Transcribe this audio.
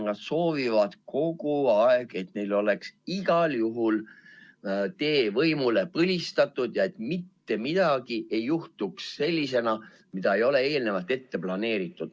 Nad soovivad kogu aeg, et neil oleks igal juhul tee võimule põlistatud ja et midagi ei juhtuks sellisena, mida ei ole eelnevalt ette planeeritud.